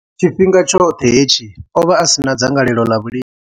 Tshifhinga tshoṱhe hetshi, o vha a si na dzangalelo ḽa vhulimi.